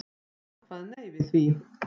Jón kvað nei við því.